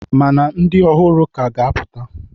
Ma na ndị ọhụrụ k'a ga-apụta.